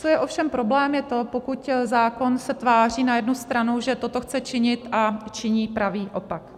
Co je ovšem problém, je to, pokud zákon se tváří na jednu stranu, že toto chce činit, a činí pravý opak.